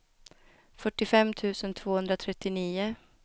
fyrtiofem tusen tvåhundratrettionio